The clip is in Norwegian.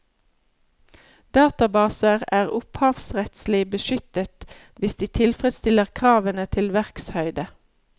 Databaser er opphavsrettslig beskyttet hvis de tilfredsstiller kravene til verkshøyde.